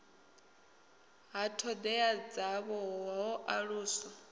ha thodea dzavho ho aluswa